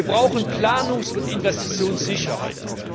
Wir brauchen Planungs und Investitionssicherheit.